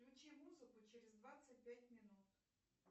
включи музыку через двадцать пять минут